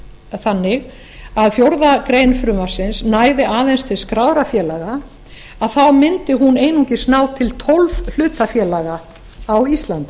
þannig að fjórðu grein frumvarpsins næði aðeins til skráðra félaga mundi hún einungis ná til tólf hlutafélaga á íslandi